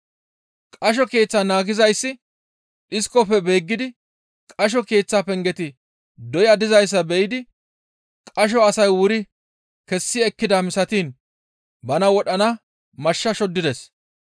Qasho keeththaa naagizayssi dhiskofe beeggidi qasho keeththaa pengeti doya dizayssa be7idi qasho asay wuri kessi ekkida misatiin bana wodhana mashsha shoddides.